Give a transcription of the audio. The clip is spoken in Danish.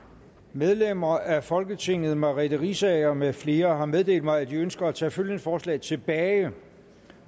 medlemmer af folketinget merete riisager med flere har meddelt mig at de ønsker at tage følgende forslag tilbage